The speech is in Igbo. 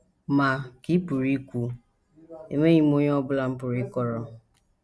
Ma, ka ị pụrụ ikwu, enweghị m onye ọ bụla m pụrụ ịkọrọ.